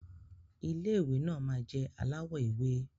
Ilé ìwé náà má jẹ alawọ ewe.